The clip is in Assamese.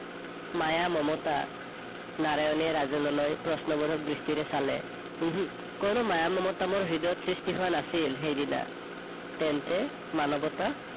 মায়া- মমতা? নাৰায়নে ৰাজেনলৈ প্ৰশ্ন বোধক দৃষ্টিৰে চালে। ওহো, কোনো মায়া মমতা মোৰ হৃদয়ত সৃষ্টি হোৱা নাছিল সেইদিনা। তেন্তে মানৱতা?